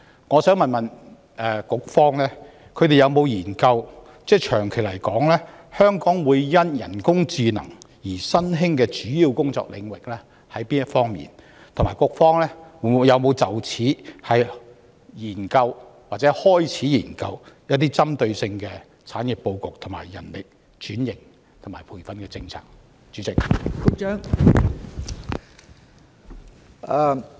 我想問局方有否研究，長遠而言，香港因為人工智能而會出現哪方面的新興主要工作領域，以及局方有否就此研究或開始研究一些針對性的產業報告、人力轉型及培訓政策？